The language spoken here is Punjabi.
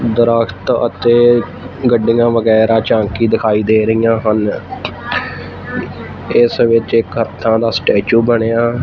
ਦਰਖਤ ਅਤੇ ਗੱਡੀਆਂ ਵਗੈਰਾ ਝਾਂਕੀ ਦਿਖਾਈ ਦੇ ਰਹੀਆਂ ਹਨ ਇਸ ਵਿੱਚ ਇੱਕ ਦਾ ਸਟੈਚੂ ਬਣਿਆ--